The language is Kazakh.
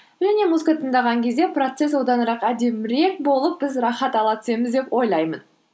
және музыка тыңдаған кезде процесс әдімірек болып біз рахат ала түсеміз деп ойлаймын